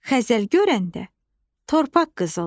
Xəzəl görəndə torpaq qızıldır.